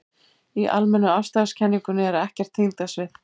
Í almennu afstæðiskenningunni er ekkert þyngdarsvið.